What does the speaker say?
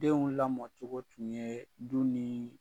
Denw lamɔcogo tun yee du nii